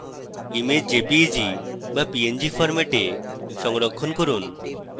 image jpeg বা png ফরম্যাটে সংরক্ষণ করুন